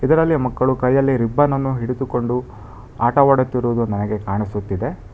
ಇದರಲ್ಲಿ ಮಕ್ಕಳು ಕೈಯಲ್ಲಿ ರಿಬ್ಬನ್ನನ್ನು ಹಿಡಿದುಕೊಂಡು ಆಟವಾಡುತ್ತಿರುವುದು ನನಗೆ ಕಾಣಿಸುತ್ತಿದೆ.